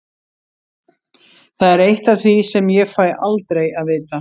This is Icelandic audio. Það er eitt af því sem ég fæ aldrei að vita.